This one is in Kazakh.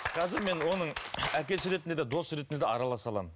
қазір мен оның әкесі ретінде де дос ретінде де араласа аламын